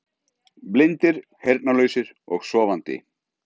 Blindir, heyrnarlausir og sofandi.